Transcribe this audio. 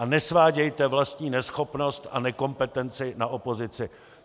A nesvádějte vlastní neschopnost a nekompetenci na opozici.